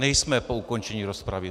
Nejsme po ukončení rozpravy.